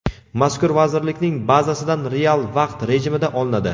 mazkur vazirlikning bazasidan real vaqt rejimida olinadi.